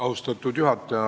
Austatud juhataja!